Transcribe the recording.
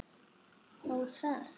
Ó, það!